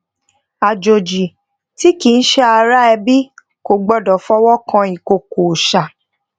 àjòjì tí kii se ara ebi kò gbọdọ fowo kan ikoko òòsà